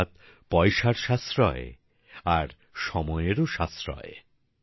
অর্থাৎ পয়সার সাশ্রয় আর সময়েরও সাশ্রয়